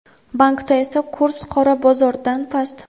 Bankda esa kurs "qora bozor"dan past.